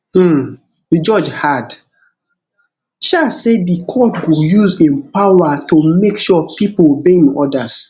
um di judge add um say di court go use im power to make sure pipo obey im orders